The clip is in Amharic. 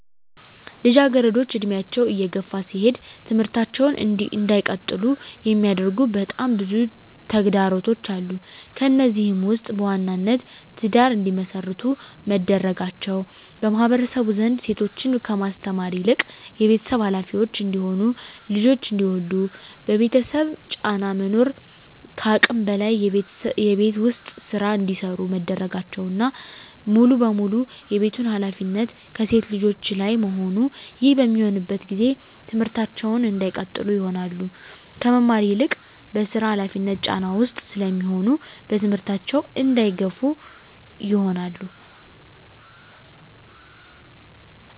ልጃገረዶች እድሜያቸው እየገፋ ሲሄድ ትምህርታቸውን እንዳይቀጥሉ የሚያደርጉ በጣም ብዙ ተግዳሮቶች አሉ። ከነዚህም ውስጥ በዋናነት ትዳር እንዲመሰርቱ መደረጋቸው በማህበረሰቡ ዘንድ ሴቶችን ከማስተማር ይልቅ የቤተሰብ ሀላፊዎች እንዲሆኑ ልጆች እንዲወልዱ የቤተሰብ ጫና መኖር ከአቅም በላይ የቤት ውስጥ ስራ እንዲሰሩ መደረጋቸውና ሙሉ በሙሉ የቤቱን ሀላፊነት ከሴት ልጆች ላይ መሆኑ ይህ በሚሆንበት ጊዜ ትምህርታቸውን እንዳይቀጥሉ ይሆናሉ። ከመማር ይልቅ በስራ ሀላፊነት ጫና ውስጥ ስለሚሆኑ በትምህርታቸው እንዳይገፋ ይሆናሉ።